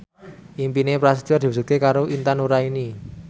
impine Prasetyo diwujudke karo Intan Nuraini